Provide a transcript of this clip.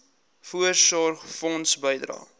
voorsorgfonds bydrae